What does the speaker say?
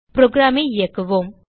programஐ இயக்குவோம்